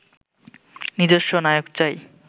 নিজস্ব নায়ক চাই